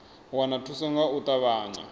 wana thuso nga u ṱavhanya